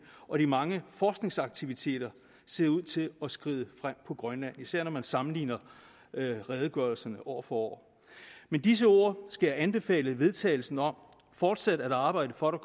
og de mange forskningsaktiviteter ser ud til at skride frem på grønland især når man sammenligner redegørelserne år for år med disse ord skal jeg anbefale vedtagelse om fortsat at arbejde for at